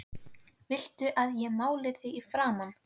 VILTU AÐ ÉG MÁLI ÞIG Í FRAMAN?